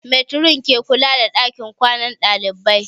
Matron ke kula da ɗakin kwanan ɗalibai